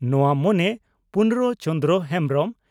ᱱᱚᱣᱟ ᱢᱚᱱᱮ (ᱯᱩᱨᱱᱚ ᱪᱚᱱᱫᱨᱚ ᱦᱮᱢᱵᱽᱨᱚᱢ)